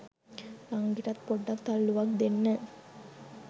නංගිටත් පොඩ්ඩක් තල්ලුවක් දෙන්න